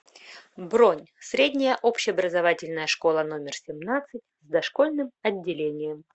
бронь средняя общеобразовательная школа номер семнадцать с дошкольным отделением